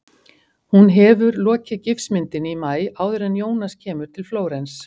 Hún hefur lokið gifsmyndinni í maí- áður en Jónas kemur til Flórens.